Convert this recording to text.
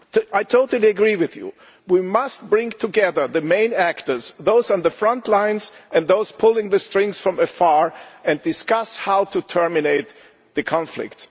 I totally agree with you we must bring together the main actors those on the front lines and those pulling the strings from afar and discuss how to terminate the conflict.